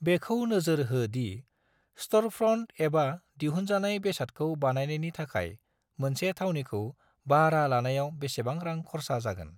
बेखौ नोजोर हो दि स्टोरफ्रन्ट एबा दिहुनजानाय बेसादखौ बानायनायनि थाखाय मोनसे थावनिखौ बाह्रा लानायाव बेसेबां रां खरसा जागोन